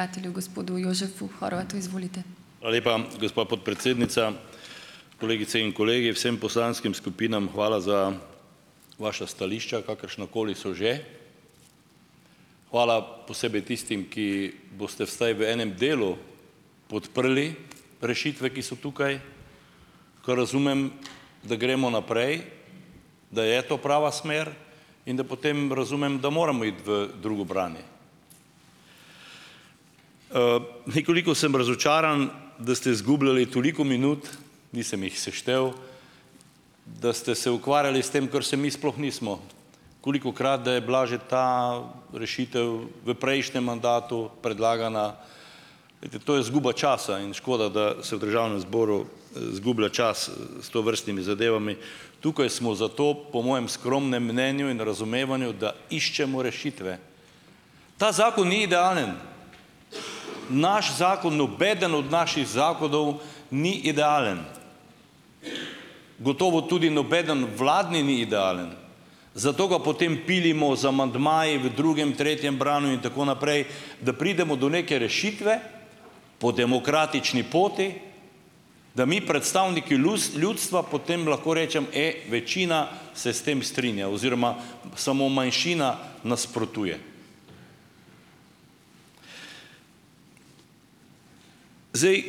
Hvala lepa, gospa podpredsednica. Kolegice in kolegi. Vsem poslanskim skupinam hvala za vaša stališča, kakršnakoli so že. Hvala posebej tistim, ki boste vsaj v enem delu podprli rešitve, ki so tukaj, kar razumem, da gremo naprej, da je to prava smer, in da potem razumem, da moramo iti v drugo branje. Nekoliko sem razočaran, da ste zgubljali toliko minut - nisem jih seštel -, da ste se ukvarjali s tem, kar se mi sploh nismo. Kolikokrat, da je bila že ta rešitev v prejšnjem mandatu predlagana Glejte. To je izguba časa in škoda, da se v državnem zboru izgublja čas s tovrstnimi zadevami. Tukaj smo zato, po mojem skromnem mnenju in razumevanju, da iščemo rešitve. Ta zakon ni idealen! Naš zakon, nobeden od naših zakonov ni idealen! Gotovo tudi nobeden vladni ni idealen. Zato ga potem pilimo z amandmaji v drugem, tretjem branju in tako naprej, da pridemo do neke rešitve po demokratični poti, da mi, predstavniki ljudstva, potem lahko rečem: " E, večina se s tem strinja." Oziroma samo manjšina nasprotuje. Zdaj,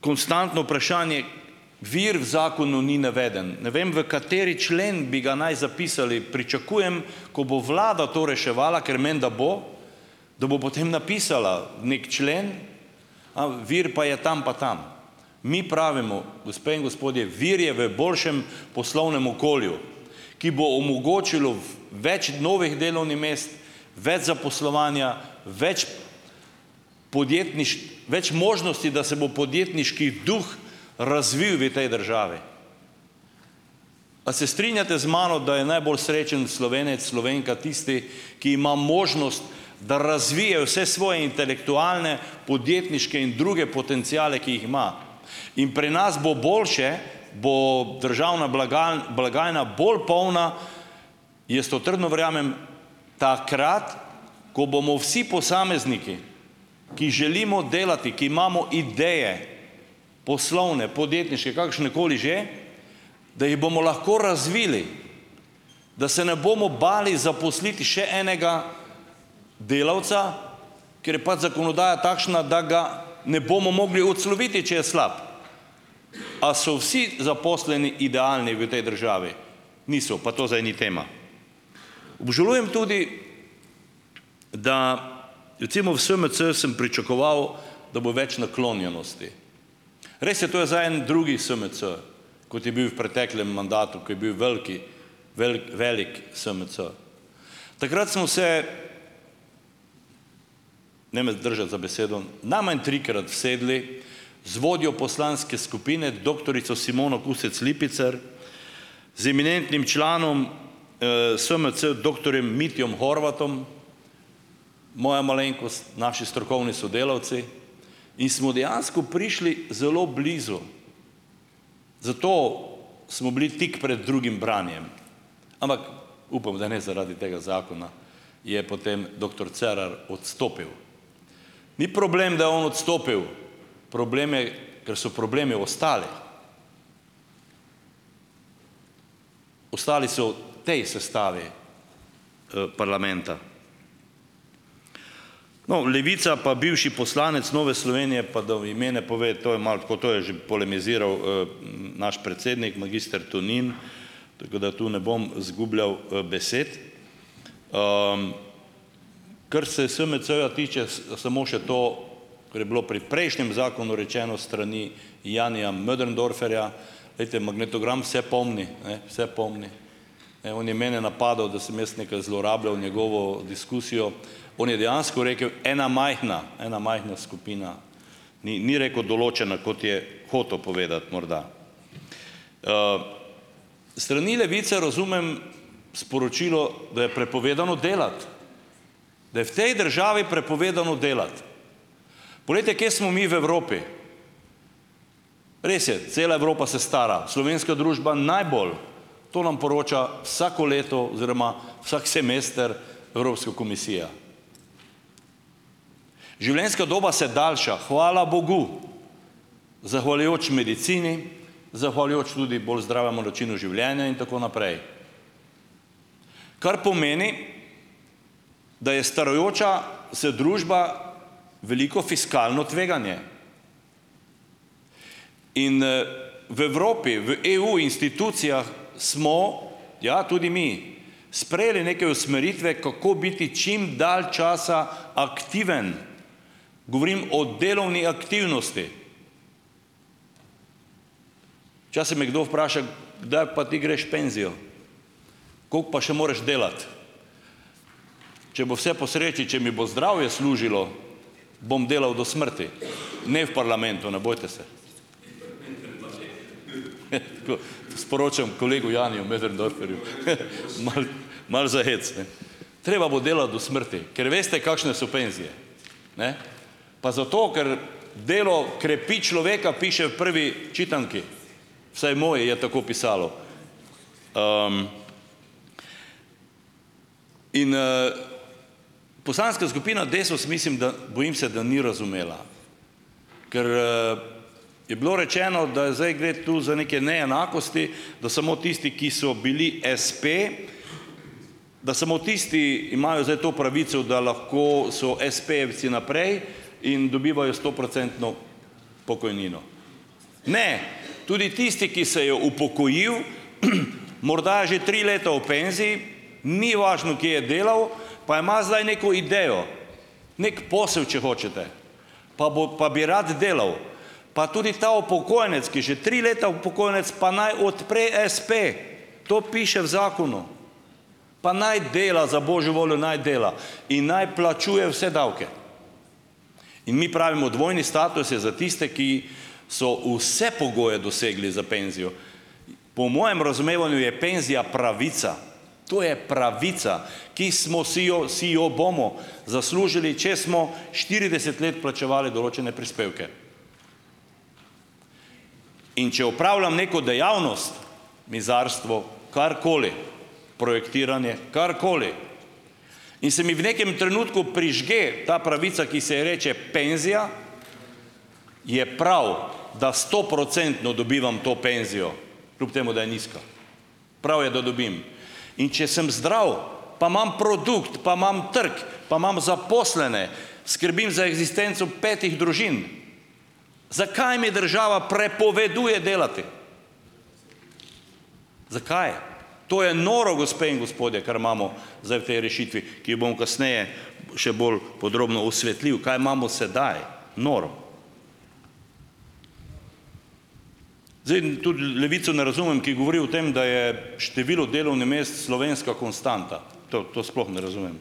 konstantno vprašanje - vir v zakonu ni naveden. Ne vem, v kateri člen bi ga naj zapisali. Pričakujem, ko bo vlada to reševala - ker menda bo - da bo potem napisala neki člen - "a vir pa je tam pa tam". Mi pravimo, gospe in gospodje: "Vir je v boljšem poslovnem okolju, ki bo omogočilo več novih delovnih mest, več zaposlovanja, več več možnosti, da se bo podjetniški duh razvil vi tej državi." A se strinjate z mano, da je najbolj srečen Slovenec, Slovenka tisti, ki ima možnost, da razvije vse svoje intelektualne, podjetniške in druge potenciale, ki jih ima? In pri nas bo boljše, bo državna blagajna bolj polna - jaz to trdno verjamem - takrat, ko bomo vsi posamezniki, ki želimo delati, ki imamo ideje - poslovne, podjetniške, kakršnekoli že, da jih bomo lahko razvili. Da se ne bomo bali zaposliti še enega delavca, ker je pač zakonodaja takšna, da ga ne bomo mogli odsloviti, če je slab. A so vsi zaposleni idealni v tej državi? Niso. Pa to zdaj ni tema. Obžalujem tudi, da - recimo, v SMC sem pričakoval, da bo več naklonjenosti. Res je, to je zdaj en drugi SMC, kot je bil v preteklem mandatu, ko je bil veliki velik SMC. Takrat smo se - ne me držati za besedo - najmanj trikrat usedli z vodjo poslanske skupine doktorico Simono Kustec Lipicer, z eminentnim članom SMC, doktorjem Mitjem Horvatom, moja malenkost, naši strokovni sodelavci in smo dejansko prišli zelo blizu. Zato smo bili tik pred drugim branjem. Ampak - upam, da ne zaradi tega zakona, je potem doktor Cerar odstopil. Ni problem, da je on odstopil! Problem je, ker so problemi ostali. Ostali so v tej sestavi parlamenta. No, Levica pa bivši poslanec Nove Slovenije pa da v ime ne pove - to je malo tako, to je že polemiziral naš predsednik magister Tonin, tako da to ne bom zgubljal besed. Kar se SMC-ja tiče, samo še to - kar je bilo pri prejšnjem zakonu rečeno s strani Janija Möderndorferja. Glejte, magnetogram vse pomni, ne. Vse pomni. Ne, on je mene napadal, da sem jaz nekaj zlorabljal njegovo diskusijo. On je dejansko rekel "ena majhna - ena majhna skupina", ni ni rekel "določena", kot je hotel povedati morda. S strani Levice razumem sporočilo, da je prepovedano delati. Da je v tej državi prepovedano delati. Poglejte, kje smo mi v Evropi. Res je, cela Evropa se stara. Slovenska družba najbolj. To nam poroča vsako leto, oziroma vsak semester, Evropska komisija. Življenjska doba se daljša - hvala bogu! Zahvaljujoč medicini, zahvaljujoč tudi bolj zdravemu načinu življenja in tako naprej. Kar pomeni, da je starajoča se družba veliko fiskalno tveganje. In v Evropi, v EU institucijah smo - ja, tudi mi - sprejeli neke usmeritve, kako biti čim dalj čas aktiven. Govorim o delovni aktivnosti. Včasih me kdo vpraša, kdaj pa ti greš v penzijo, koliko pa še moraš delati. Če bo vse po sreči, če mi bo zdravje služilo, bom delal do smrti, ne v parlamentu, ne bojte se. Sporočam kolegu Janiju Möderndorferju. Malo, malo za hec, ne. Treba bo delati do smrti, ker veste kakšne so penzije. Ne, pa zato, ker delo krepi človeka, piše v Prvi čitanki, vsaj moji je tako pisalo. In Poslanska skupina Desus, mislim, da bojim se, da ni razumela. Ker je bilo rečeno, da zdaj gre tu za neke neenakosti, da samo tisti, ki so bili espe, da samo tisti imajo zdaj to pravico, da lahko so espejevci naprej in dobivajo stoprocentno pokojnino. Ne, tudi tisti, ki se je upokojil, morda je že tri leta v penziji, ni važno, kje je delal, pa ima zdaj neko idejo, neki posel, če hočete, pa bo pa bi rad delal, pa tudi ta upokojenec, ki že tri leta upokojenec, pa naj odpre espe. To piše v zakonu. Pa naj dela, za božjo voljo, naj dela in naj plačuje vse davke. In mi pravimo, dvojni status je za tiste, ki so vse pogoje dosegli za penzijo. Po mojem razumevanju je penzija pravica. To je pravica, ki smo si jo, si jo bomo zaslužili, če smo štirideset let plačevali določene prispevke. In če opravljam neko dejavnost, mizarstvo, karkoli, projektiranje, karkoli, in se mi v nekem trenutku prižge ta pravica, ki se ji reče penzija, je prav, da stoprocentno dobivam to penzijo, kljub temu da je nizka, prav je, da dobim. In če sem zdrav, pa imam produkt, pa imam trg, pa imam zaposlene, skrbim za eksistenco petih družin, zakaj mi država prepoveduje delati. Zakaj? To je noro, gospe in gospodje, kar imamo zdaj v tej rešitvi, ki jo bom kasneje še bolj podrobno osvetlil, kaj imamo sedaj, noro. Zdaj tudi Levico ne razumem, ki govori o tem, da je število delovnih mest slovenska konstanta. To to sploh ne razumem.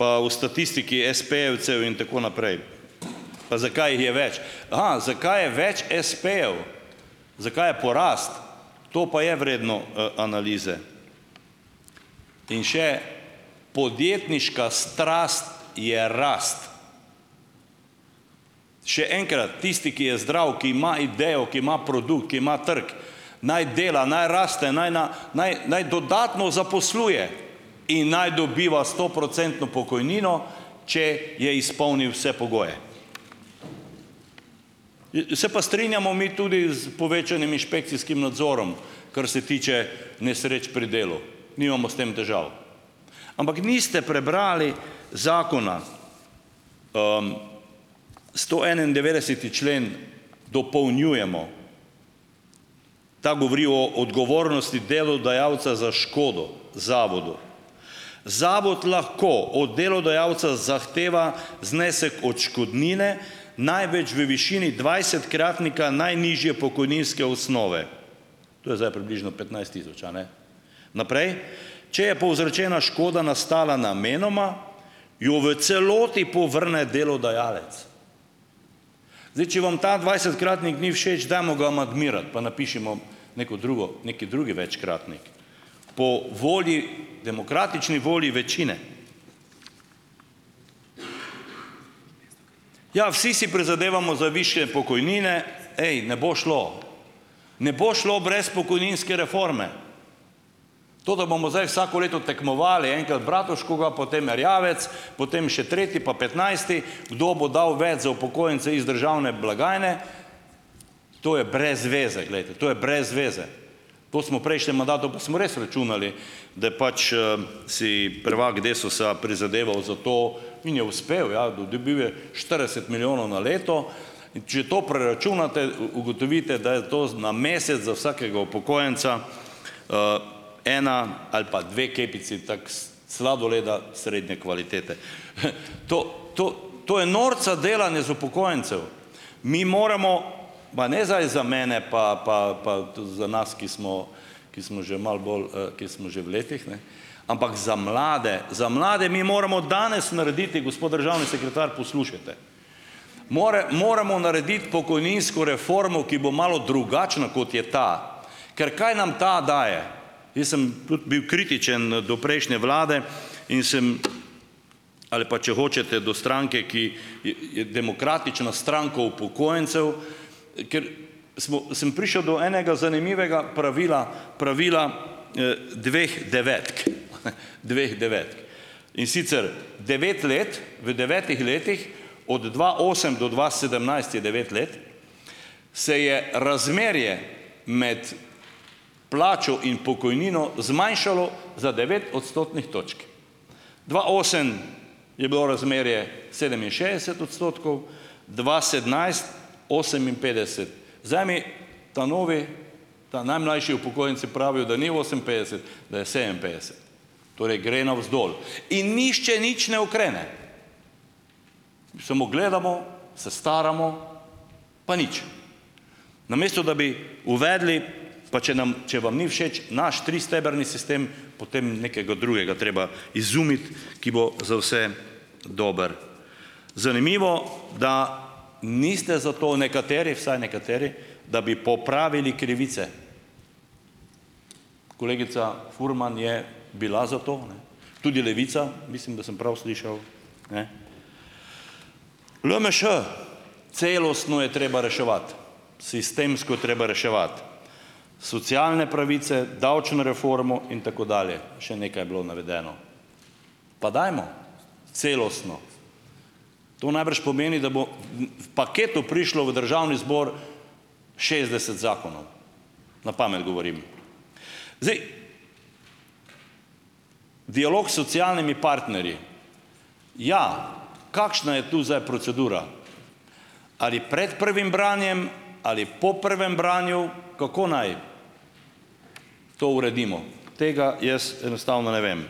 Pa o statistiki espejevcev in tako naprej, pa zakaj jih je več. Aha, zakaj je več espejev? Zakaj je porast? To pa je vredno analize. In še podjetniška strast je rast. Še enkrat, tisti, ki je zdrav, ki ima idejo, ki ima produkt, ki ima trg, naj dela, naj raste, naj na naj naj dodatno zaposluje in naj dobiva stoprocentno pokojnino, če je izpolnil vse pogoje. Se pa strinjamo mi tudi s povečanim inšpekcijskim nadzorom, kar se tiče nesreč pri delu. Nimamo s tem težav. Ampak niste prebrali zakona. Stoenaindevetdeseti člen dopolnjujemo. Ta govori o odgovornosti delodajalca za škodo zavodu. "Zavod lahko od delodajalca zahteva znesek odškodnine največ v višini dvajsetkratnika najnižje pokojninske osnove." To je zdaj približno petnajst tisoč, a ne. Naprej, "če je povzročena škoda nastala namenoma, jo v celoti povrne delodajalec". Zdaj, če vam ta dvajsetkratnik ni všeč, dajmo ga amandmirati, pa napišimo neko drugo neki drugi večkratnik, po volji, demokratični volji večine. Ja, vsi si prizadevamo za višje pokojnine. Ej, ne bo šlo. Ne bo šlo brez pokojninske reforme. To, da bomo zdaj vsako leto tekmovali, enkrat Bratuškova, potem Erjavec, potem še tretji, pa petnajsti, kdo bo dal več za upokojence iz državne blagajne, to je brez veze, glejte, to je brez veze. To smo v prejšnjem mandatu, pa smo res računali, da pač si prvak DESUS-a prizadeval za to, in je uspel, ja, dobil je štirideset milijonov na leto. In če to preračunate, ugotovite, da je to na mesec za vsakega upokojenca ena ali pa dve kepici tako sladoleda srednje kvalitete To, to, to je norca delanje iz upokojencev. Mi moramo, pa ne zdaj za mene pa pa pa za nas, ki smo ki smo že malo bolj, ki smo že v letih, ne, ampak za mlade, za mlade mi moramo danes narediti, gospod državni sekretar, poslušajte, moramo narediti pokojninsko reformo, ki bo malo drugačna, kot je ta. Ker kaj nam ta daje? Jaz sem tudi bil kritičen do prejšnje vlade in sem, ali pa če hočete do stranke, ki je Demokratična stranka upokojencev, ker smo sem prišel do enega zanimivega pravila. Pravila dveh devetk. Dveh devetk. In sicer: devet let, v devetih letih, od dva osem do dva sedemnajst je devet let, se je razmerje med plačo in pokojnino zmanjšalo za devet odstotnih točk. Dva osem je bilo razmerje sedeminšestdeset odstotkov, dva sedemnajst oseminpetdeset. Zdaj mi ta novi, ta najmlajši upokojenci pravijo, da ni oseminpetdeset, da je sedeminpetdeset. Torej gre navzdol. In nihče nič ne ukrene. Samo gledamo, se staramo, pa nič. Namesto da bi uvedli, pa če nam, če vam ni všeč naš tristebrni sistem, potem nekega drugega treba izumiti, ki bo za vse dober. Zanimivo, da niste za to nekateri, vsaj nekateri, da bi popravili krivice. Kolegica Furman je bila za to, ne, tudi Levica, mislim, da sem prav slišal, ne. LMŠ, celostno je treba reševati, sistemsko je treba reševati. Socialne pravice, davčno reformo in tako dalje, še nekaj je bilo navedeno. Pa dajmo celostno. To najbrž pomeni, da bo v paketu prišlo v Državni zbor šestdeset zakonov. Na pamet govorim. Zdaj, dialog s socialnimi partnerji, ja, kakšna je tu zdaj procedura? Ali pred prvim branjem, ali po prvem branju, kako naj to uredimo? Tega jaz enostavno ne vem.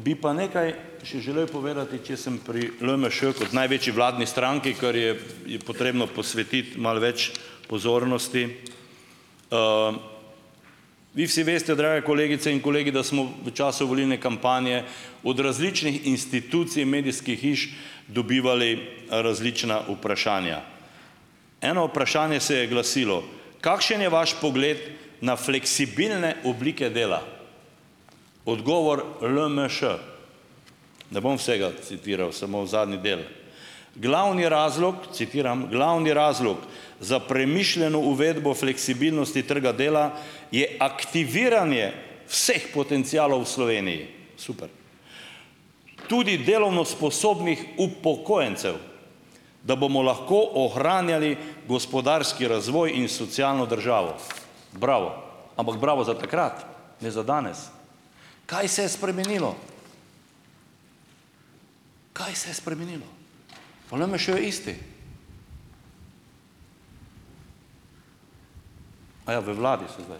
Bi pa nekaj še želel povedati, če sem pri LMŠ kot največji vladni stranki, ker je je potrebno posvetiti malo več pozornosti. Vi vsi veste, drage kolegice in kolegi, da smo v času volilne kampanje od različnih institucij, medijskih hiš dobivali različna vprašanja. Eno vprašanje se je glasilo: "Kakšen je vaš pogled na fleksibilne oblike dela?" Odgovor LMŠ - ne bom vsega citiral, samo zadnji del: "Glavni razlog," - citiram - "Glavni razlog za premišljeno uvedbo fleksibilnosti trga dela je aktiviranje vseh potencialov v Sloveniji." Super. "Tudi delovno sposobnih upokojencev, da bomo lahko ohranjali gospodarski razvoj in socialno državo." Bravo, ampak bravo za takrat, ne za danes. Kaj se je spremenilo? Kaj se je spremenilo? Pa LMŠ je isti. Aja, v vladi so zdaj.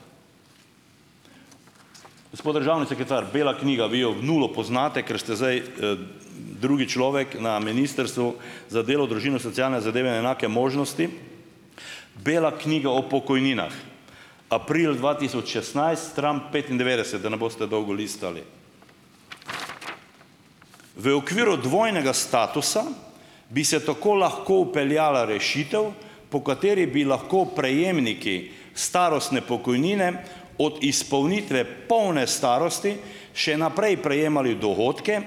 Gospod državni sekretar, bela knjiga, vi jo v nulo poznate, ker ste zdaj drugi človek na Ministrstvu za delo, družino, socialne zadeve in enake možnosti. Bela knjiga o pokojninah, april dva tisoč šestnajst, stran petindevetdeset, da ne boste dolgo listali. V okviru dvojnega statusa, bi se tako lahko vpeljala rešitev, po kateri bi lahko prejemniki starostne pokojnine od izpolnitve polne starosti še naprej prejemali dohodke,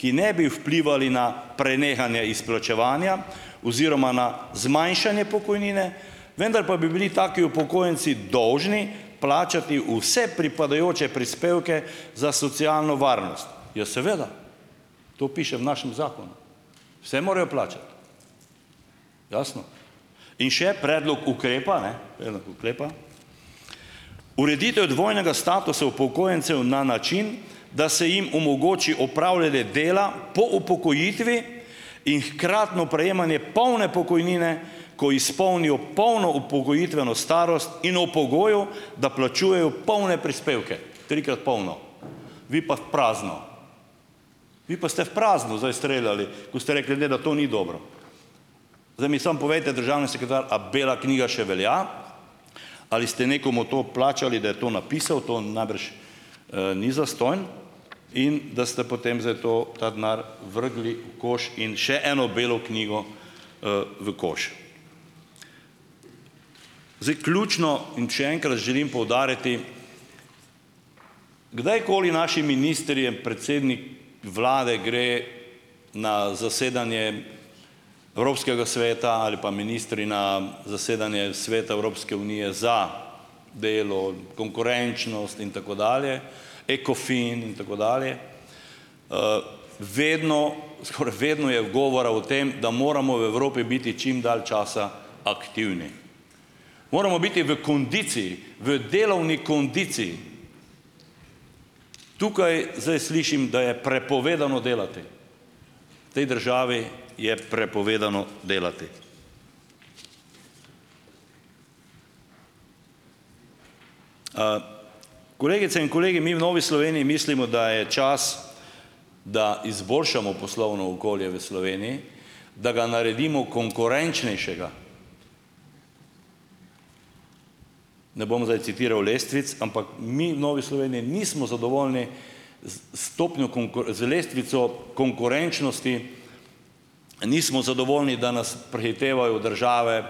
ki ne bi vplivali na prenehanje izplačevanja oziroma na zmanjšanje pokojnine, vendar pa bi bili taki upokojenci dolžni plačati vse pripadajoče prispevke za socialno varnost. Ja seveda, to piše v našem zakonu. Vse morajo plačati. Jasno. In še predlog ukrepa, ne, predlog ukrepa: Ureditev dvojnega statusa upokojencev na način, da se jim omogoči opravljanje dela po upokojitvi in hkratno prejemanje polne pokojnine, ko izpolnijo polno upokojitveno starost, in ob pogoju, da plačujejo polne prispevke. Trikrat polno. Vi pa v prazno. Vi pa ste v prazno zdaj streljali, ko ste rekli, ne, da to ni dobro. Zdaj mi samo povejte, državni sekretar, a bela knjiga še velja, ali ste nekomu to plačali, da je to napisal, to najbrž ni zastonj, in da ste potem zdaj to, ta denar vrgli v koš in še eno belo knjigo v koš. Zdaj, ključno in še enkrat želim poudariti, kdajkoli naši ministri, predsednik vlade gre na zasedanje Evropskega sveta ali pa ministri na zasedanje Sveta Evropske unije za delo, konkurenčnost, in tako dalje, Ecofin, in tako dalje, vedno skoraj vedno je govora o tem, da moramo v Evropi biti čim dalj časa aktivni. Moramo biti v kondiciji, v delovni kondiciji. Tukaj zdaj slišim, da je prepovedano delati. V tej državi je prepovedano delati. Kolegice in kolegi! Mi v Novi Sloveniji mislimo, da je čas, da izboljšamo poslovno okolje v Sloveniji, da ga naredimo konkurenčnejšega. Ne bom zdaj citiral lestvic, ampak mi v Novi Sloveniji nismo zadovoljni z s stopnjo z lestvico konkurenčnosti, nismo zadovoljni, da nas prehitevajo države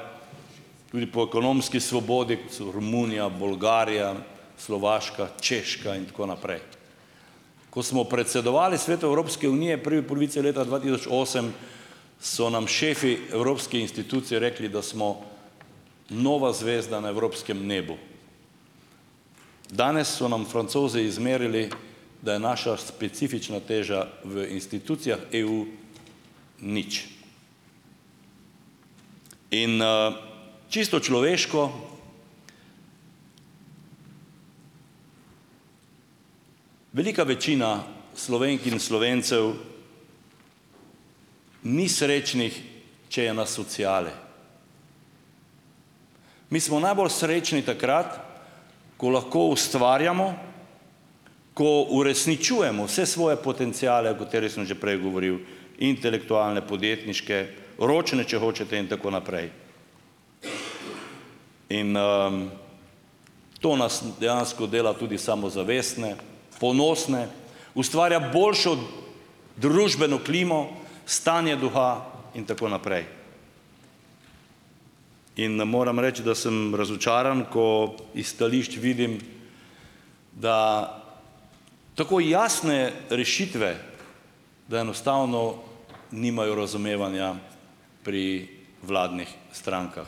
tudi po ekonomski svobodi, kot so Romunija, Bolgarija, Slovaška, Češka, in tako naprej. Ko smo predsedovali Svetu Evropske unije prvi polovici leta dva tisoč osem, so nam šefi evropskih institucij rekli, da smo nova zvezda na evropskem nebu. Danes so nam Francozi izmerili, da je naša specifična teža v institucijah EU, nič. In čisto človeško, velika večina Slovenk in Slovencev ni srečnih, če je na sociali. Mi smo najbolj srečni takrat, ko lahko ustvarjamo, ko uresničujemo vse svoje potenciale, o katerih sem že prej govoril, intelektualne, podjetniške, ročne, če hočete, in tako naprej. In to nas dejansko dela tudi samozavestne, ponosne, ustvarja boljšo družbeno klimo, stanje duha, in tako naprej. In ne morem reči, da sem razočaran, ko iz stališč vidim, da tako jasne rešitve, da enostavno nimajo razumevanja pri vladnih strankah.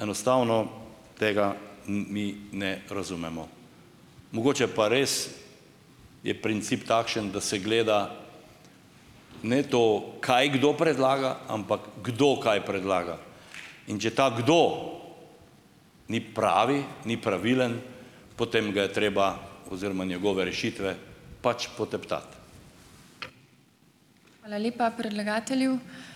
Enostavno tega mi ne razumemo. Mogoče pa res je princip takšen, da se gleda ne to, kaj kdo predlaga, ampak kdo kaj predlaga. In če ta kdo ni pravi, ni pravilen, potem ga je treba oziroma njegove rešitve pač poteptati.